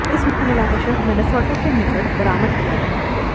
इस महिला का शव मिनेसोटा के निकट बरामद किया गया